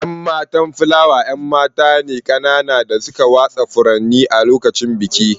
’Yan matan Flower ’yan mata ne kanana da suka watsa furanni a lokacin bikin.